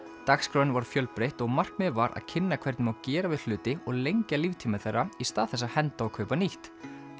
dagskráin var fjölbreytt og markmiðið var að kynna hvernig má gera við hluti og lengja líftíma þeirra í stað þess að henda og kaupa nýtt